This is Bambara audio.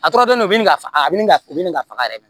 A tɔrɔlen don u bɛ nin faga a bɛ ka bin ka faga yɛrɛ yɛrɛ